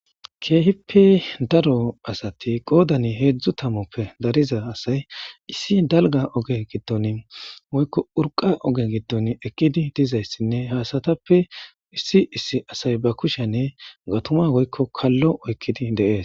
keehippe daro asati qoodani heedzdzu tamoppe dariza asay issi dalga oge gidton woykko urqa oge gidton ekidi dizayssinne haasatappe issi issi asay ba kushenne gatuma woykko kallo oykkidi deees